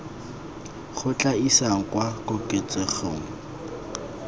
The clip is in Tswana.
go tla isang kwa koketsegong